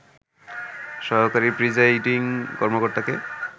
সহকারী প্রিজাইডিং কর্মকর্তাকে